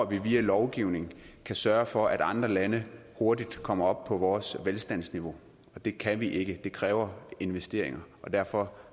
vi bare via lovgivning kan sørge for at andre lande hurtigt kommer op på vores velstandsniveau og det kan vi ikke det kræver investeringer og derfor